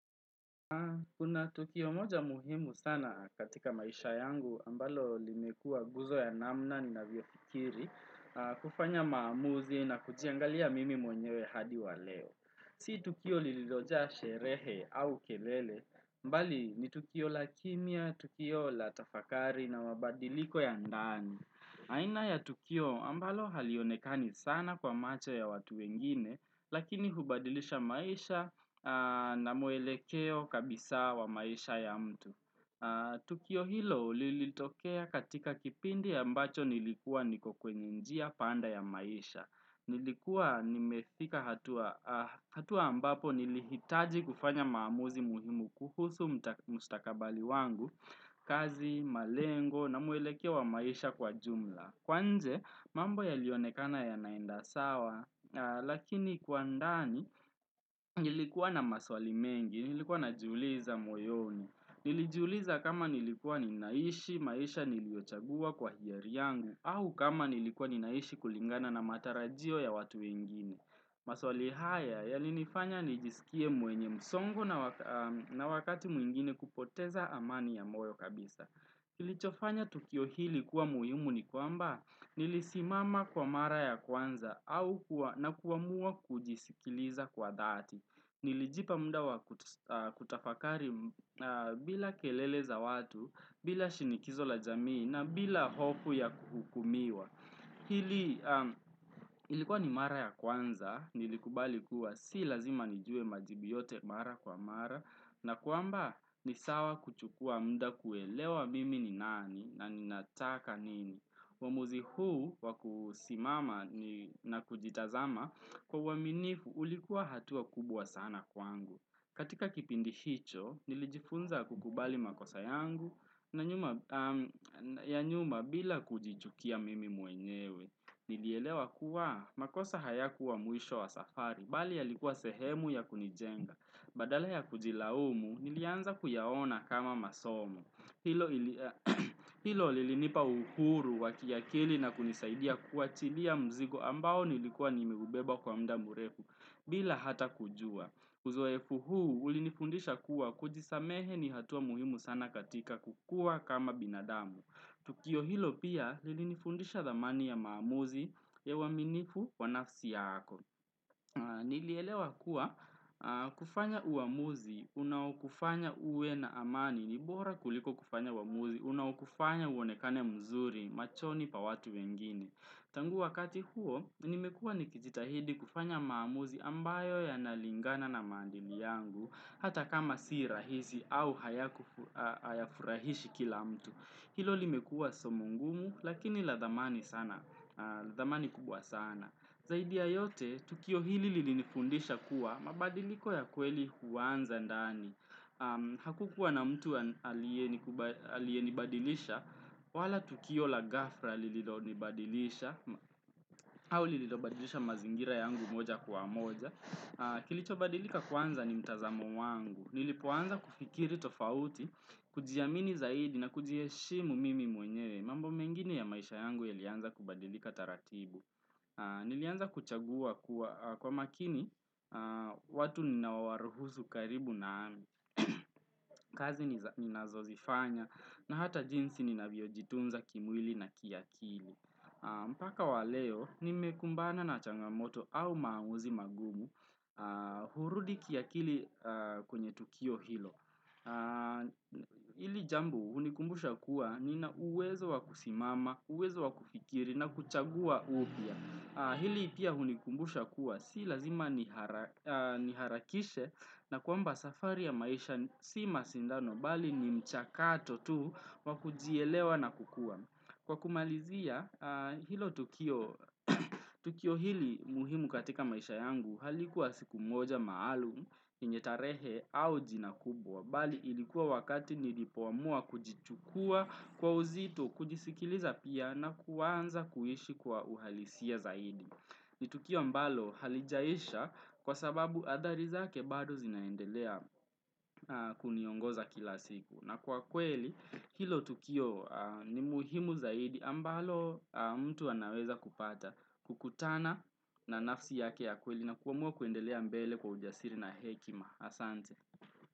Kuna tukio moja muhimu sana katika maisha yangu ambalo limekua guzo ya namna ni navyofikiri kufanya maamuzi na kujiangalia mimi mwenyewe hadi wa leo. Si tukio lilioja sherehe au kelele, bali ni tukio la kimya, Tukio la tafakari na mabadiliko ya ndani. Aina ya Tukio ambalo halionekani sana kwa macho ya watu wengine, lakini hubadilisha maisha na muelekeo kabisa wa maisha ya mtu. Tukio hilo lilitokea katika kipindi ya ambacho nilikuwa niko kwenye njia panda ya maisha. Nilikuwa nimefika hatua ambapo nilihitaji kufanya maamuzi muhimu kuhusu mstakabali wangu, kazi, malengo na muelekea wa maisha kwa jumla. Kwanza, mambo yalionekana yanaenda sawa, lakini kwa ndani, nilikuwa na maswali mengi, nilikuwa na jiuliza moyoni, nilijiuliza kama nilikuwa ninaishi, maisha niliochagua kwa hiari yangu au kama nilikuwa ninaishi kulingana na matarajio ya watu wengine. Maswali haya yalinifanya nijisikie mwenye msongo na wakati mwingine kupoteza amani ya moyo kabisa. Kilichofanya tukio hili kuwa muhimu ni kuamba nilisimama kwa mara ya kwanza na kuamua kujisikiliza kwa dhati. Nilijipa muda wa kutafakari bila kelele za watu, bila shinikizo la jamii na bila hopu ya kukumiwa. Hili ilikuwa ni mara ya kwanza nilikubali kuwa si lazima nijue majibu yote mara kwa mara na kuamba ni sawa kuchukua muda kuelewa mimi ni nani na nina taka nini. Uamuzi huu wakusimama na kujitazama kwa uwaminifu ulikuwa hatua kubwa sana kwangu. Katika kipindi hicho, nilijifunza kukubali makosa yangu ya nyuma bila kujichukia mimi mwenyewe. Nilielewa kuwa makosa haya kuwa mwisho wa safari, bali yalikuwa sehemu ya kunijenga. Badala ya kujilaumu, nilianza kuyaona kama masomo. Hilo lilinipa uhuru wakiakili na kunisaidia kuachilia mzigo ambao nilikuwa nimeubeba kwa muda mrefu, bila hata kujua. Uzoefu huu ulinifundisha kuwa kujisamehe ni hatua muhimu sana katika kukua kama binadamu. Tukio hilo pia lilinifundisha dhamani ya maamuzi ya uwaminifu wa nafsi yako. Nilielewa kuwa kufanya uamuzi, unaokufanya uwe na amani, nibora kuliko kufanya uamuzi, unaokufanya uonekane mzuri, machoni pa watu wengine. Tangu wakati huo, nimekuwa nikijitahidi kufanya maamuzi ambayo ya nalingana na maadili yangu, hata kama si rahizi au haya furahishi kila mtu. Hilo limekuwa somo ngumu, lakini la dhamani sana, la dhamani kubwa sana. Zaidi ya yote, tukio hili lilinifundisha kuwa mabadiliko ya kweli huanza ndani. Hakukuwa na mtu aliyenikubali aliye nibadilisha wala tukio la ghafla lilonibadilisha au lililobadilisha mazingira yangu moja kwa moja kilicho badilika kwanza ni mtazamo wangu nilipoanza kufikiri tofauti kujiamini zaidi na kujiheshimu mimi mwenye mambo mengine ya maisha yangu yalianza kubadilika taratibu Nilianza kuchagua kwa makini watu ninao wa ruhusu karibu nami kazi ninazo zifanya na hata jinsi ninavyojitunza kimwili na kiakili. Mpaka wa leo, nimekumbana na changamoto au maamuzi magumu hurudi kiakili kwenye tukio hilo. Hili jambo hunikumbusha kuwa nina uwezo wakusimama, uwezo wakufikiri na kuchagua upya. Hili pia hunikumbusha kuwa, si lazima niharakishe na kuamba safari ya maisha si mashindano, bali ni mchakato tu wakujielewa na kukua. Kwa kumalizia, hilo tukio hili muhimu katika maisha yangu halikuwa siku moja maalum, yenye tarehe au jina kubwa. Bali ilikuwa wakati nilipo amua kujichukua kwa uzito kujisikiliza pia na kuanza kuishi kwa uhalisi zaidi. Nitukio ambalo halijaisha kwa sababu hathari zake bado zinaendelea kuniongoza kila siku. Na kwa kweli hilo tukio ni muhimu zaidi ambalo mtu anaweza kupata kukutana na nafsi yake ya kweli na kuamua kuendelea mbele kwa ujasiri na hekima.